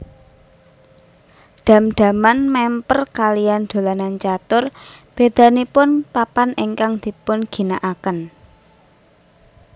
Dham dhaman mèmper kaliyan dolanan catur bédanipun papan ingkang dipunginakaken